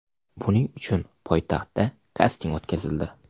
Buning uchun poytaxtda kasting o‘tkazildi.